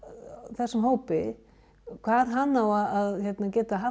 þessum hópi hvar hann á að geta haft